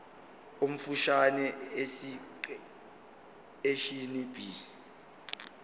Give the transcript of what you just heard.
omfushane esiqeshini b